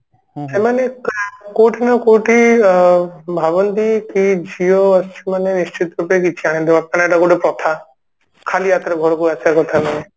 ଏମାନେ କୋଉଠି ନା କୋଉଠି ଅ ଭାବନ୍ତି କି ଝିଅ ଅଛି ମାନେ ନିଶ୍ଚିତ ରୂପେ କିଛି ଆଣିଥିବ କାହିଁକି ନା ଏଇଟା ଗୋଟେ ପ୍ରଥା ଖାଲି ହାତରେ ଘରକୁ ଆସିଆ କଥା ନୁହେଁ